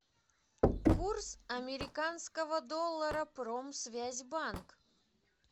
курс американского доллара промсвязьбанк